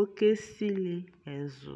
ɔkɛ sili ɛzʋ